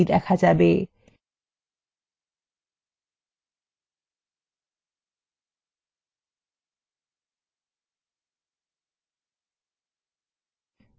ভিউতে নিম্নলিখিত ক্ষেত্রগুলি অন্তর্ভুক্ত করুন – বইয়ের শিরোনাম সদস্যৰ names বই নেওয়ার তারিখ এবং বই ফেরত দেবার তারিখ